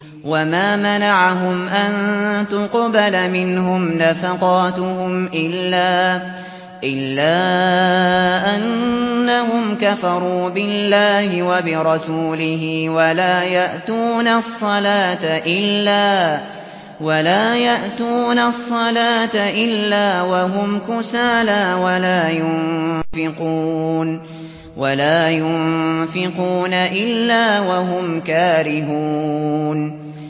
وَمَا مَنَعَهُمْ أَن تُقْبَلَ مِنْهُمْ نَفَقَاتُهُمْ إِلَّا أَنَّهُمْ كَفَرُوا بِاللَّهِ وَبِرَسُولِهِ وَلَا يَأْتُونَ الصَّلَاةَ إِلَّا وَهُمْ كُسَالَىٰ وَلَا يُنفِقُونَ إِلَّا وَهُمْ كَارِهُونَ